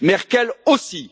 Merkel aussi.